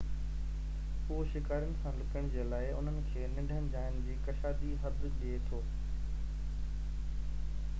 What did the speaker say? اهو شڪارين سان لڪڻ جي لاءِ انهن کي ننڍن جائين جي ڪشادي حد ڏئي ٿو